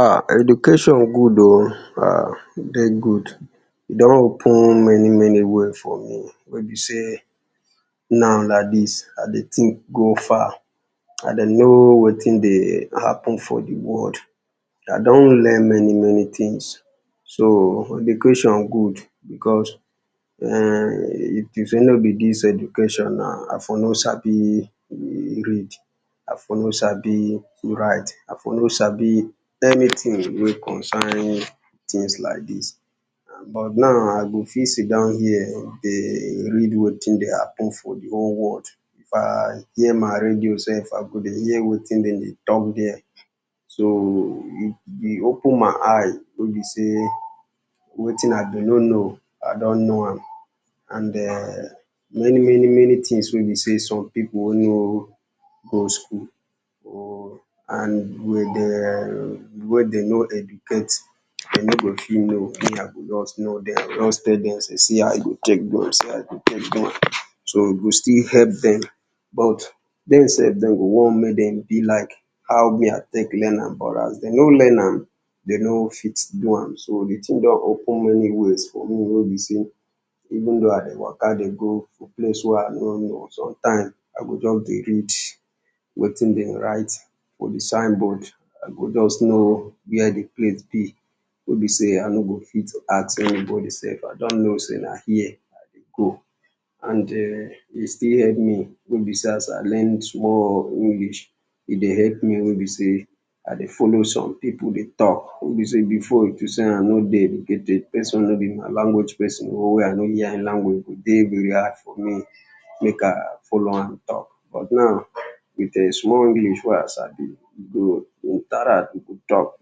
Ah education good oh, e dey good e don open many many way for me, wey be sey now like dis, I dey think go far, I dey know wetin dey happen for di world, I don learn many many things so education good because if e nor be dis education I for no sabi read, I for no sabi write, I for no sabi anything wey concern things like dis, but now I go fit sit down here, dey read wetin dey happen for di world, via my radio sef I go dey hear wetin dem dey talk thee, so e open my eye wey be sey, wetin I bee no know, I don know am and [urn] many many things wey be sey some people wey no go school and [urn] dem wey dem no educate, dem no go fit know, I go just tell dem sey see how you go take do am, see how you go take do am, so e go still help dem, but dem sef dem go want make e be like how me I take learn am, but as dem no learn am, dem no fit do am so di thing don open many ways for me, wey be sey even though I dey waka dey go place wey I no know, sometimes, I go just dey read wetin dem write for di signboard, I go just know where di place be wey be sey, I no go fit ask anybody sef, I just know sey na here I dey go. And [urn] e still help me wey be sey as I learn more English, I dey help me wey be sey, I dey follow some people dey talk wey be sey before if be sey I no dey educated, person no be my language person, or I no hear im language, I dey hard for me make I follow am talk, b ut now with di small English wey I sab i [2] talk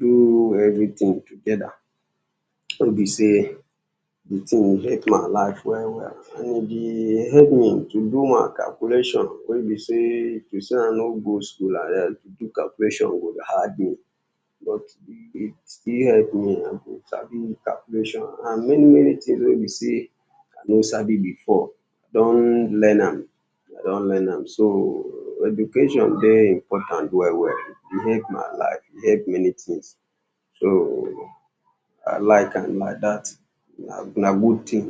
do everything together, wey be sey di thing dey help my life well well, and e dey help me to do more calculation wey be sey if e sey I no go school, to do calculation go hard me, but e still help me I dey sabi calculation and now, many many things wey be sey I no sabi before, don learn am, I don learn am so education dey important well well, e help my life e help many things so I like am like dat, na good thing.